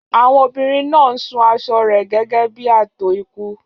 Àwọn obìnrin náà ń sun aṣọ rẹ̀ gẹ́gẹ́ bí ààtò ikú.